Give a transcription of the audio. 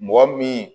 Mɔgɔ min